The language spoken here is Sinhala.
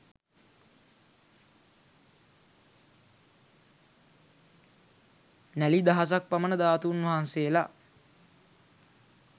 නැළි දහසක් පමණ ධාතුන් වහන්සේලා